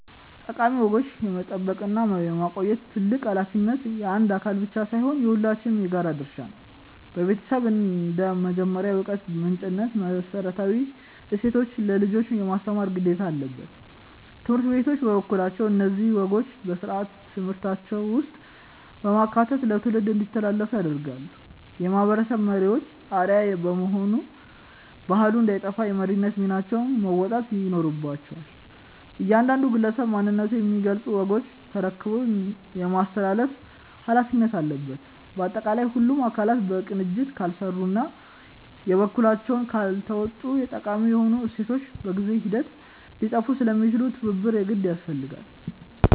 ጠቃሚ ወጎችን የመጠበቅና የማቆየት ታላቅ ኃላፊነት የአንድ አካል ብቻ ሳይሆን የሁላችንም የጋራ ድርሻ ነው። ቤተሰብ እንደ መጀመሪያው የዕውቀት ምንጭነቱ መሰረታዊ እሴቶችን ለልጆች የማስተማር ግዴታ አለበት። ትምህርት ቤቶች በበኩላቸው እነዚህን ወጎች በሥርዓተ ትምህርታቸው ውስጥ በማካተት ለትውልድ እንዲተላለፉ ያደርጋሉ። የማህበረሰብ መሪዎችም አርአያ በመሆን ባህሉ እንዳይጠፋ የመሪነት ሚናቸውን መወጣት ይኖርባቸዋል። እያንዳንዱ ግለሰብም ማንነቱን የሚገልጹ ወጎችን ተረክቦ የማስተላለፍ ኃላፊነት አለበት። ባጠቃላይ ሁሉም አካላት በቅንጅት ካልሰሩና የበኩላቸውን ካልተወጡ ጠቃሚ የሆኑ እሴቶቻችን በጊዜ ሂደት ሊጠፉ ስለሚችሉ ትብብር የግድ ያስፈልጋል።